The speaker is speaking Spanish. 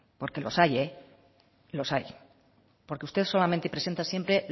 porque los hay los hay porque usted solamente presenta siempre